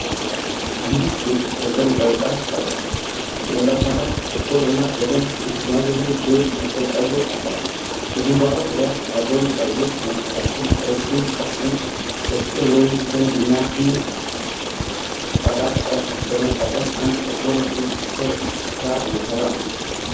አንዲት ሴት በቅርብ ቀረጻ ቀርባለች፤ በጭንቅላቷ ላይ ጥቁር እና በደንብ የተጠማዘዙ ድሬድ መሳይ ፀጉር አላት። በግንባሯ ዙሪያ ያለውን ፀጉር ለማስተካከል ረጅም፣ ቀጭን በትር ወይም ዘንግ እና ትንሽ ቅጠላቅጠል በመጠቀም አንድ ጥቁር እጅ ስራ እየሰራ ነው።